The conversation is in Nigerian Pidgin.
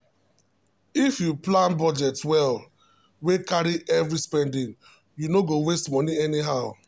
if you plan budget well wey carry every spending you no go waste money anyhow.